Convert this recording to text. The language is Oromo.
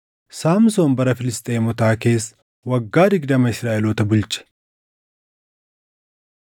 Saamsoon bara Filisxeemotaa keessa waggaa digdama Israaʼeloota bulche.